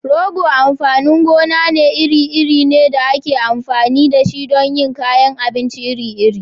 Rogo amfanin gona iri-iri ne da ake amfani da shi don yin kayan abinci iri-iri.